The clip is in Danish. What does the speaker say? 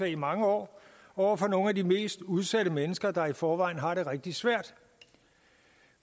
i mange år over for nogle af de mest udsatte mennesker der i forvejen har det rigtig svært